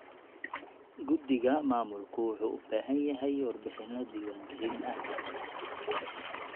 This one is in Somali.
Guddiga maamulku wuxuu u baahan yahay warbixinno diiwaan gelin ah.